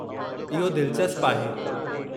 इहो दिलचस्पु आहे।